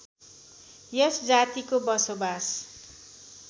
यस जातिको बसोवास